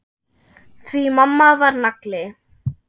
Því mamma var nagli.